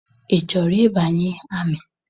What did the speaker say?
Ị chọrọ ịbanye amị?